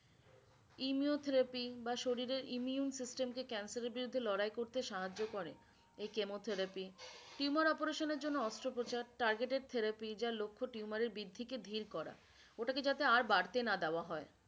immio therapy বা শরীরের immune system কে cancer এর বিরুদ্ধে লড়াই করতে সাহায্য করে এই chemotherapy tumour operation এর জন্য অস্ত্র প্রচার targetted therapy যার লক্ষ tumour এর বৃদ্ধি কে ধীর করা ওটা কে যাতে আর বাড়তে না দেওয়া হয়ে।